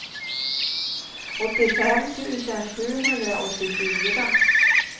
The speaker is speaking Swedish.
åttiofem tusen sjuhundraåttiofyra